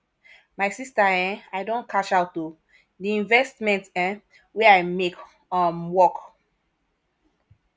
my sister um i don cash out o di investment um wey i make um work